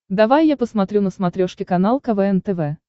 давай я посмотрю на смотрешке канал квн тв